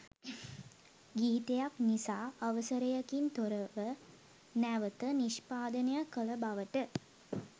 ගීතයක් නිසි අවසරයකින් තොරව නැවත නිෂ්පාදනය කළ බවට